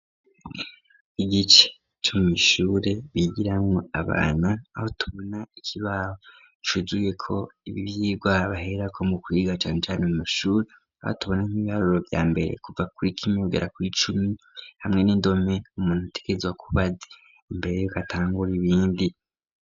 Igice co mw'ishure bigirako abana aho tubona ikibaho cuzuyeko ivyigwa baherako mu kwiga cane cane mu mashure, aho tubona nk'ibibaruro vya mbere kuva kuri rimwe kugera kuri icumi hamwe n'indome umuntu ategerezwa kuba azi imbere yuko atangura ibindi.